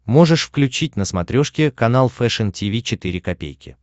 можешь включить на смотрешке канал фэшн ти ви четыре ка